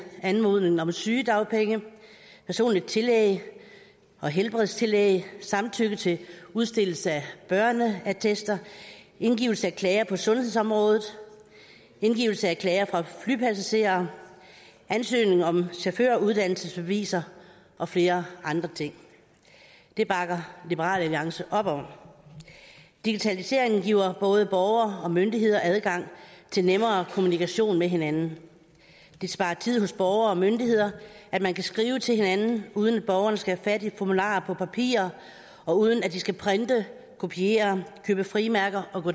anmodning om sygedagpenge personligt tillæg og helbredstillæg samtykke til udstedelse af børneattester indgivelse af klager på sundhedsområdet indgivelse af klager fra flypassagerer ansøgning om chaufføruddannelsesbeviser og flere andre ting det bakker liberal alliance op om digitaliseringen giver både borgere og myndigheder adgang til nemmere kommunikation med hinanden det sparer tid hos borgere og myndigheder at man kan skrive til hinanden uden at borgerne skal have fat i formularer på papir og uden at de skal printe kopiere købe frimærker og gå